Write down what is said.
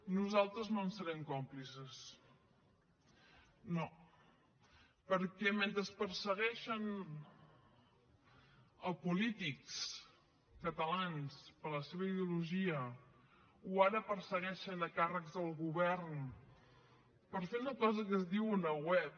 nosaltres no en serem còmplices no perquè mentre persegueixen polítics catalans per la seva ideologia o ara persegueixen càrrecs del govern per fer una cosa que es diu una web